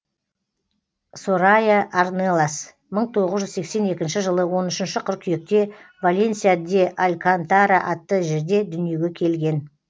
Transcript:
сорайя арнелас мың тоғыз жүз сексен екінші жылы он үшінші қыркүйекте валенсия де алькантара атты жерде дүниеге келген